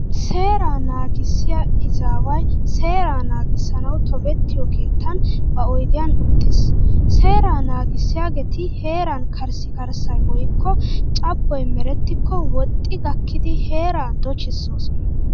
Seeraa naagissiya izaaway seeraa nagissanawu tobettiyo keettan ba oydiyan uttis. Seeraa naagissiyageeti heeran karssikarssay woykko cabboy merettikko woxxi gakkidi heeraa dochissoosona.